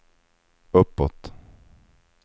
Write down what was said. uppåt